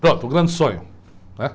Pronto, o grande sonho. Né?